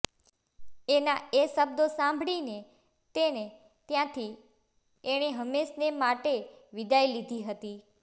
એના એ શબ્દો સાંભળીને તેને ત્યાંથી એણે હંમેશને માટે વિદાય લીધી હતી